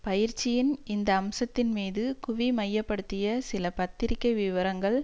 பயிற்சியின் இந்த அம்சத்தின் மீது குவிமையப்படுத்திய சில பத்திரிகை விவரங்கள்